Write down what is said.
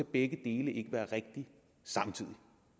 begge dele ikke være rigtigt samtidig